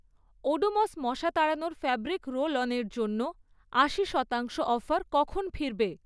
ওডোমস মশা তাড়ানোর fabric roll on জন্য আশি শতাংশ অফার কখন ফিরবে?